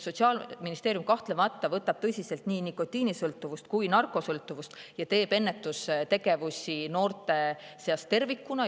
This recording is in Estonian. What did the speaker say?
Sotsiaalministeerium kahtlemata võtab tõsiselt nii nikotiinisõltuvust kui narkosõltuvust ja teeb ennetustööd noorte seas tervikuna.